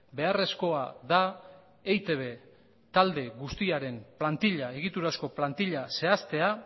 beharrezkoa da eitb talde guztiaren plantila egiturazko plantila zehaztea